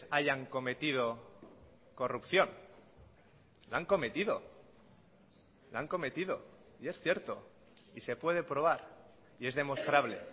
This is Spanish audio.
hayan cometido corrupción la han cometido la han cometido y es cierto y se puede probar y es demostrable